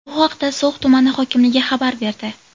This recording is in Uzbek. Bu haqda So‘x tumani hokimligi xabar berdi .